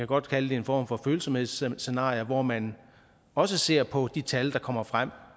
godt kalde det en form for følsomhedsscenarier hvor man også ser på de tal der kommer frem